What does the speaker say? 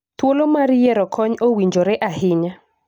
Thuolo mar yiero kony owinjore ahinya